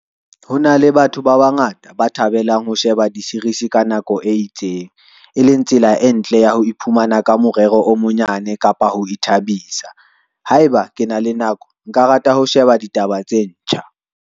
Ho na le batho ba bangata ba thabelang ho sheba di-series ka nako e itseng, e leng tsela e ntle ya ho iphumana ka morero o monyane kapa ho ithabisa. Haeba ke na le nako, nka rata ho sheba ditaba tse ntjha.